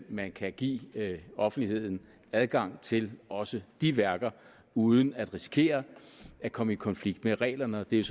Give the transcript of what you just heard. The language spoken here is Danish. man kan give offentligheden adgang til også de værker uden at risikere at komme i konflikt med reglerne og det er